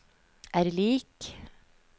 er lik